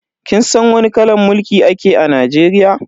Kin san wani kalan mulki ake a Najeriya?